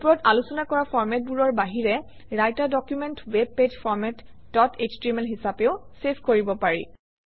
ওপৰত আলোচনা কৰা ফৰমেটবোৰৰ বাহিৰে writer document web page format dot HTML হিচাপেও চেভ কৰিব পাৰি